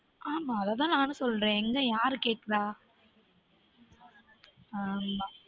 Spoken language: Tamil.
ஆமா அது தான் நானும் சொல்றன் எங்க யாரு கேக்குறா